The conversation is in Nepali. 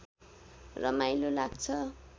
रमाइलो लाग्छ